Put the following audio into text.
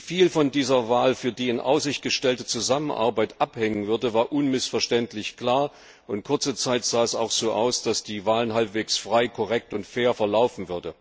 Wie viel von dieser Wahl für die in Aussicht gestellte Zusammenarbeit abhängen würde, war unmissverständlich klar, und kurze Zeit sah es auch so aus, als würde die Wahl halbwegs frei, korrekt und fair verlaufen.